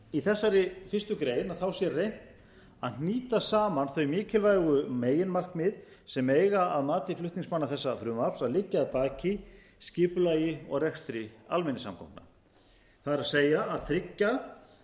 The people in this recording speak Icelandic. í þessari fyrstu grein sé reynt að hnýta saman þau mikilvægu meginmarkmið sem eiga að mati flutningsmanna þessa frumvarps að liggja að baki skipulagi og rekstri almenningssamgangna það er að tryggja